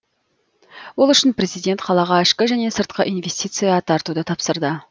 ол үшін президент қалаға ішкі және сыртқы инвестиция тартуды тапсырды